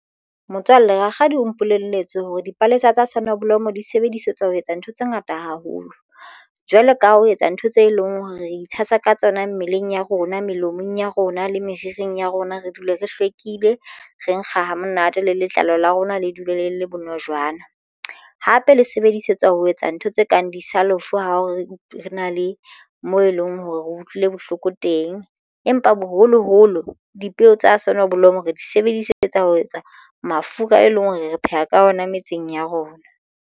Motswalle rakgadi o mpolelletse hore dipalesa tsa sonneblom di sebedisetswa ho etsa ntho tse ngata haholo jwalo ka ho etsa ntho tse leng hore re itshasa ka tsona mmeleng ya rona melomong ya rona le meriring ya rona re dule re hlweke ile re nkga hamonate le letlalo la rona le dule le le bonojana. Hape le sebedisetswa ho etsa ntho tse kang di self ho re re na le mone leng hore re utlwile bohloko teng, empa boholoholo dipeo tsa soneblomo re di sebedisetsa ho etsa mafura e leng hore re pheha ka ona metseng ya rona.